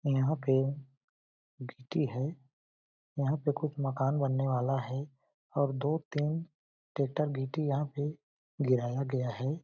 यहाँ पे गिट्टी है यहाँ पे कुछ मकान बनने वाला है और दो -तीन टेक्टर गिट्टी यहाँ पे गिराया गया हैं ।